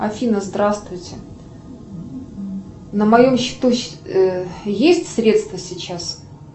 афина здравствуйте на моем счету есть средства сейчас